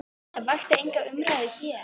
Það vakti enga umræðu hér.